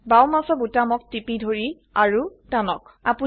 বাও মাউসৰ বোতামক টিপি ধৰি আৰু টানক